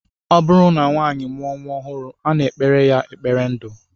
Ọ bụrụ na nwaanyị mụọ nnwa ọhụrụ, a na-ekpere ha ekpere ndu